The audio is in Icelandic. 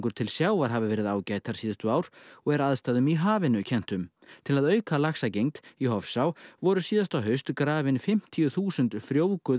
til sjávar hafa verið ágætar síðustu ár og er aðstæðum í hafinu kennt um til að auka laxagengd í Hofsá voru síðasta haust grafin fimmtíu þúsund frjóvguð